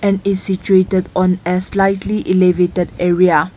and is situated on a slightly elevated area.